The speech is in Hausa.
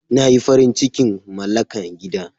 Na yi farin cikin malaka gida.